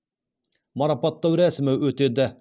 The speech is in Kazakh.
марапаттау рәсімі өтеді